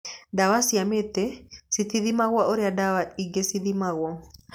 Ndawa cia mĩtĩ citithimagwo ũrĩa ndawa ingĩ cithimagwo.